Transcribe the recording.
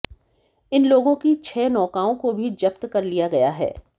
इन लोगों की छह नौकाओं को भी जब्त कर लिया गया है